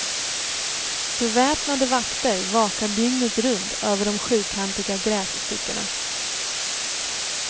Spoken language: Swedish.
Beväpnade vakter vakar dygnet runt över de sjukantiga grässtyckena.